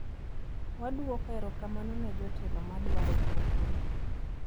Wadwoko erokamano ne jotelo ma dwaro pogore.